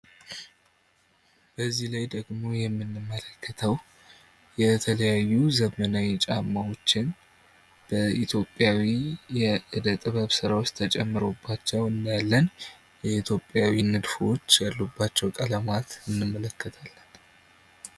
በዚህ ላይ ደግሞ የምንመለከተው የተለያዩ ዘመናዊ ጫማዎችን በኢትዮጲያዊው የእደ ጥበብ ስራዎች ተጨምሮባቸው እናያለን የኢትዮጲያዊ ንድፎች ያሉባቸው ቀለማት እንመለከታለን።